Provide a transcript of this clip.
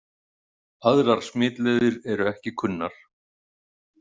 Aðrar smitleiðir eru ekki kunnar.